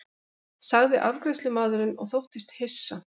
sagði afgreiðslumaðurinn og þóttist hissa.